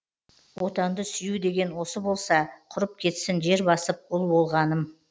отанды сүю деген осы болса құрып кетсін жер басып ұл болғаным